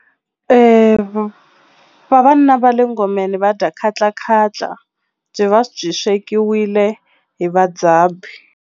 Vavanuna va le ngomeni va dya khatlakhatla byi va byi swekiwile hi vadzabi.